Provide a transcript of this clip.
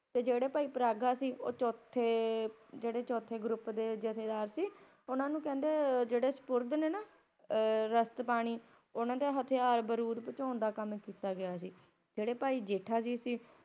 ਤੇ ਜੇਹੜੇ ਭਾਈ ਪਰਾਗਾ ਸੀ ਓਹ ਚੋਥੇ ਜੇੜੇ ਚੌਥੇ Group ਦੇ ਜਥੇਦਾਰ ਸੀ ਓਹਨਾ ਨੂੰ ਕਹਿੰਦੇ ਜੇਹੜੇ ਨੇ ਨਾ ਰਸਟਬਾਣੀ ਓਹਨਾ ਦੇ ਹਥਿਆਰ ਪਹੁੰਚਾਉਣ ਦਾ ਕੰਮ ਦਿੱਤਾ ਗਿਆ ਸੀ ਤੇ ਜੇਹੜੇ ਭਾਈ ਜੇਠਾ ਜੀ ਸੀ